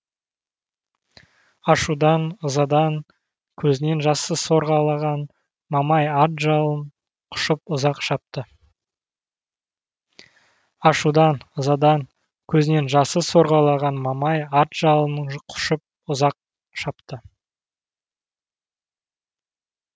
ашудан ызадан көзінен жасы сорғалаған мамай ат жалын құшып ұзақ шапты